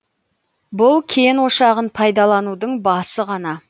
бұл кен ошағын пайдаланудың басы ғана